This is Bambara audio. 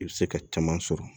I bɛ se ka caman sɔrɔ